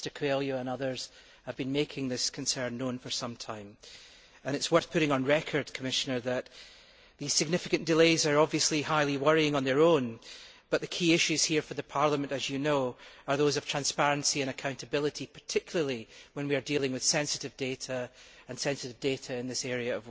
Mr Coelho and others have been making this concern known for some time and it is worth putting on record that, while these significant delays are obviously highly worrying on their own, the key issues here for Parliament, as you know, are those of transparency and accountability, particularly when we are dealing with sensitive data, and sensitive data in this area.